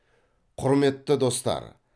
құрметті достар